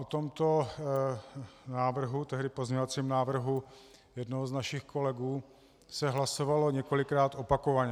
O tomto návrhu, tehdy pozměňovacím návrhu jednoho z našich kolegů, se hlasovalo několikrát opakovaně.